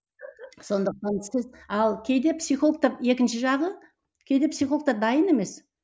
сондықтан сіз ал кейде психологтар екінші жағы кейде психологтар дайын емес